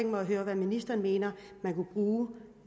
mig at høre hvad ministeren mener man kunne bruge